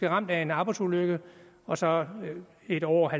ramt af en arbejdsulykke og så lidt over